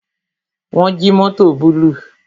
Wọn jí mótò búlúù